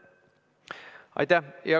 Aitäh!